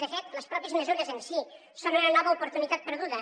de fet les pròpies mesures en si són una nova oportunitat perduda